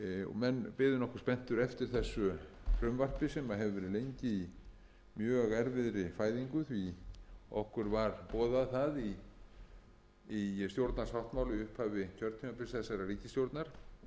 menn biðu nokkuð spenntir eftir þessu frumvarpi sem hefur verið lengi í mjög erfiðri fæðingu því okkur var boðað það í stjórnarsáttmála í upphafi kjörtímabils þessarar ríkisstjórnar sem